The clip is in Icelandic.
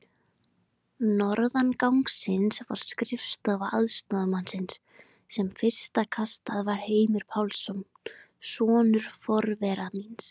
Norðan gangsins var skrifstofa aðstoðarmanns, sem fyrsta kastið var Heimir Pálsson, sonur forvera míns